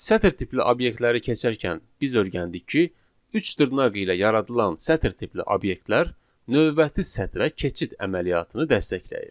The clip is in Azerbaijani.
Sətir tipli obyektləri keçərkən biz öyrəndik ki, üç dırnaq ilə yaradılan sətir tipli obyektlər növbəti sətrə keçid əməliyyatını dəstəkləyir.